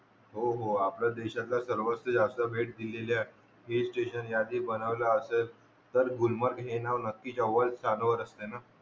हो हो आपल्या देशातला सर्वस्व यांचा भेट दिलेली आहे हिलस्टेशन ज्या साठी बनवल असेल तर गुलमर्ग हे नाव नक्की जवळ जाणवत असते ना